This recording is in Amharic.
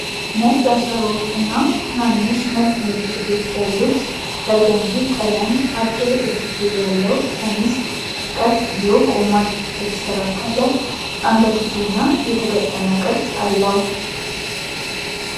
ነጭ አዝራሮች እና ትናንሽ ነጭ ምልክቶች ያሉት በርገንዲ ቀለም አጭር እጅጌ ያለው ሸሚዝ ቀጥ ብሎ ቆሟል። የተስተካከለ አንገትጌ እና የተገጠመ ቅርጽ አለው።